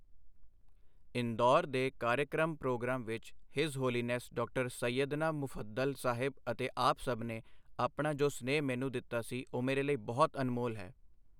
ਇੰਦੌਰ ਦੇ ਕਾਰਯਕ੍ਰਮ ਪ੍ਰੋਗਰਾਮ ਵਿੱਚ his holiness Dr. Syedna Mufaddal Saheb ਅਤੇ ਆਪ ਸਭ ਨੇ ਆਪਣਾ ਜੋ ਸਨੇਹ ਮੈਨੂੰ ਦਿੱਤਾ ਸੀ, ਉਹ ਮੇਰੇ ਲਈ ਬਹੁਤ ਅਨਮੋਲ ਹੈ।